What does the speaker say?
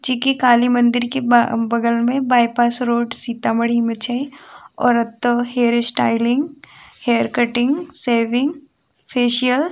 जी के काली मंदिर के बाय बगल में बाय पास रोड सीतामढ़ी में छै और ओते hair styling hair cutting shaving facial --